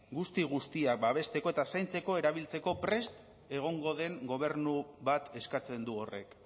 guzti guztiak babesteko eta zaintzeko erabiltzeko prest egongo den gobernu bat eskatzen du horrek